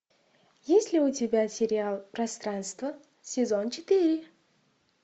есть ли у тебя сериал пространство сезон четыре